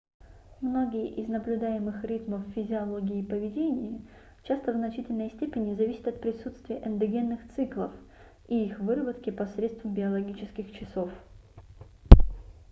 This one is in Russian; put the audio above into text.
многие из наблюдаемых ритмов в физиологии и поведении часто в значительной степени зависят от присутствия эндогенных циклов и их выработки посредством биологических часов